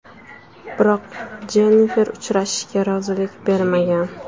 Biroq Jennifer uchrashishga rozilik bermagan.